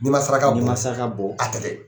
N'i ma saraka , n'i ma saraka bɔ a tɛ kɛ.